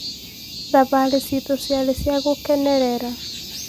thabari cĩĩtu ciarĩ cia gũkenerera